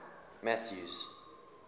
mathews